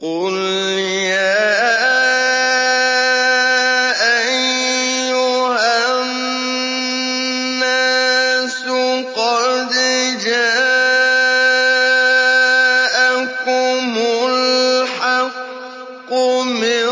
قُلْ يَا أَيُّهَا النَّاسُ قَدْ جَاءَكُمُ الْحَقُّ مِن